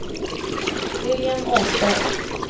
William Åsberg